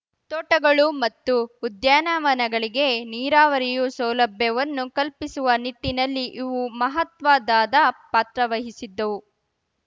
ತೋಟಗಳು ಮತ್ತು ಉದ್ಯಾನವನಗಳಿಗೆ ನೀರಾವರಿಯು ಸೌಲಭ್ಯವನ್ನು ಕಲ್ಪಿಸುವ ನಿಟ್ಟಿನಲ್ಲಿ ಇವು ಮಹತ್ವದಾದ ಪಾತ್ರವಹಿಸಿದ್ದವು